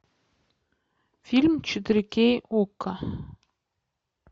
фильм четыре кей окко